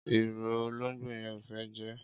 Ïrõ, ológbó yen o fé je?